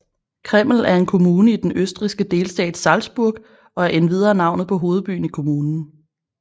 Krimml er en kommune i den østrigske delstat Salzburg og er endvidere navnet på hovedbyen i kommunen